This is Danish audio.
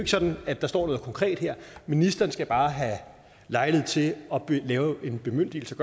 sådan at der står noget konkret her ministeren skal bare have lejlighed til at lave en bemyndigelse